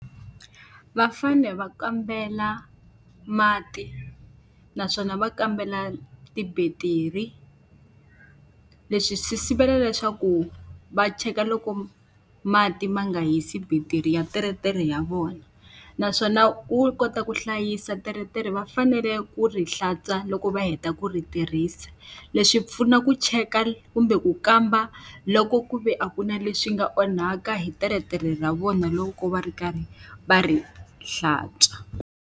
Va fanele va kambela mati naswona va kambela tibetiri. Leswi swi sivela leswaku va cheka loko mati ma nga hisi battery ya teretere ya vona. naswona ku kota ku hlayisa teretere va fanele ku ri hlantswa loko va heta ku ri tirhisa, leswi pfuna ku cheka kumbe ku kamba loko ku ve a ku na leswi nga onhaka hi teretere ra vona loko va ri karhi va ri hlantswa.